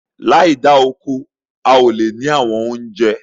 Láì da oko, a ó lè ní àwọn oúnjẹ